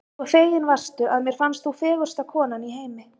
svo fegin varstu, að mér fannst þú fegursta konan í heimi.